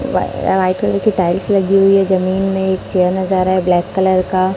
white colour की tiles लगी हुई है जमीन में एक चेयर नजर आ रहा है ब्लैक कलर का--